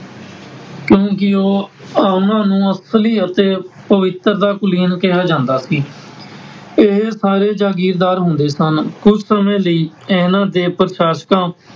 ਕਿਉਂਕਿ ਉਹ ਉਹਨਾਂ ਨੂੰ ਅਸਲੀ ਅਤੇ ਪਵਿੱਤਰ ਕੁਲੀਨ ਕਿਹਾ ਜਾਂਦਾ ਸੀ । ਇਹ ਸਾਰੇ ਜਾਗੀਰਦਾਰ ਹੁੰਦੇ ਸਨ । ਕੁੱਝ ਸਮੇਂ ਲਈ ਇਹਨਾਂ ਨੇ ਪ੍ਰਸ਼ਾਸਕਾਂ,